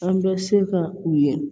An bɛ se ka u ye